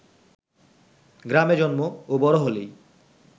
গ্রামে জন্ম ও বড় হলেই